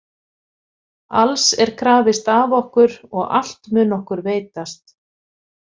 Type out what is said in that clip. Alls er krafist af okkur og allt mun okkur veitast.